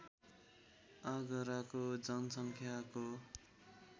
आगराको जनसङ्ख्याको